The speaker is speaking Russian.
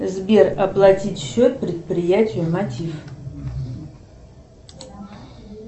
сбер оплатить счет предприятию мотив